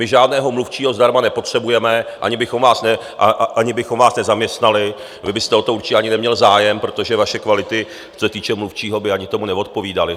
My žádného mluvčího zdarma nepotřebujeme, ani bychom vás nezaměstnali, vy byste o to určitě ani neměl zájem, protože vaše kvality, co se týče mluvčího, by ani tomu neodpovídaly.